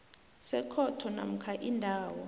sekhotho namkha indawo